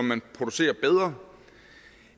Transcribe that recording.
man producerer bedre